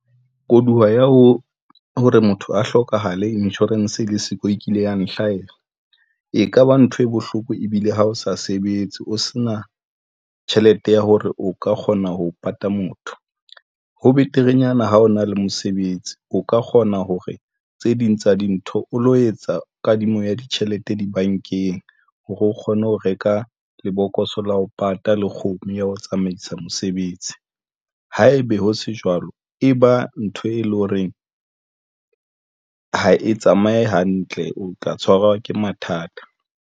Koduwa ya ho hore motho a hlokahale insurance e le siko e kile ya nhlahela, e kaba ntho e bohloko ebile ha o sa sebetse. O se na tjhelete ya hore o ka kgona ho pata motho, ho beterenyana ha o na le mosebetsi, o ka kgona hore tse ding tsa dintho o lo etsa kadimo ya ditjhelete dibankeng hore o kgone ho reka lebokoso la ho pata le ho kgomo ya ho tsamaisa mosebetsi. Haebe ho se jwalo, e ba ntho e leng horeng ha e tsamaye hantle, o tla tshwarwa ke mathata.